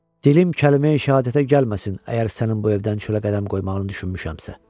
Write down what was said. Dilim kəlmeyi-şəhadətə gəlməsin, əgər sənin bu evdən çölə qədəm qoymağını düşünmüşəmsə.